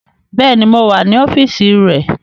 Béèni, mo wà ní ọ́fíìsì rẹ̀